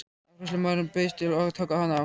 Afgreiðslumaðurinn bauðst til að taka hana frá.